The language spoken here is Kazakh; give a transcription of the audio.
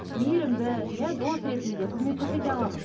мейірімді иә дос ретінде қызмет көрсете аламыз